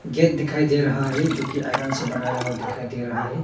Gate दिखाई दे रहा है जोकि आयरन से बनाया हुआ दिखाई दे रहा है।